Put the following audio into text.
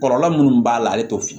Kɔlɔlɔ minnu b'a la ale t'o fɔ